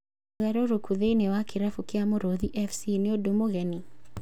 ũgarũrũku thĩiniĩ wa kĩrabu kia Mũrũthi FC nĩ ũndũ mũgeni ?